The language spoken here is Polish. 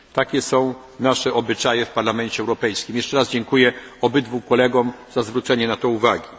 Takie są nasze obyczaje w Parlamencie Europejskim. Jeszcze raz dziękuję obydwu kolegom na zwrócenie mi na to uwagi.